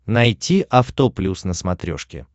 найти авто плюс на смотрешке